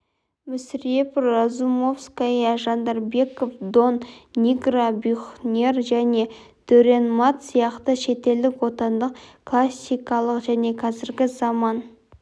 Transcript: мүсірепов разумовская жандарбеков дон нигро бюхнер және дюрренмат сияқты шетелдік отандық классикалық және қазіргі заман